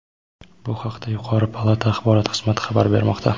Bu haqda yuqori palata Axborot xizmati xabar bermoqda.